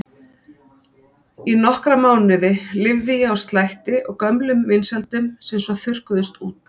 Í nokkra mánuði lifði ég á slætti og gömlum vinsældum sem svo þurrkuðust út.